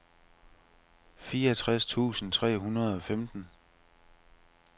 fireogtres tusind tre hundrede og femten